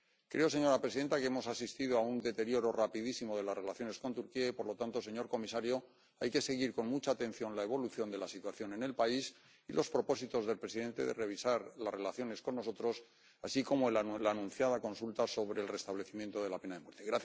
Creo, señora presidenta, que hemos asistido a un deterioro rapidísimo de las relaciones con Turquía y, por lo tanto, señor comisario, hay que seguir con mucha atención la evolución de la situación en el país y los propósitos del presidente de revisar las relaciones con nosotros, así como la anunciada consulta sobre el restablecimiento de la pena de muerte.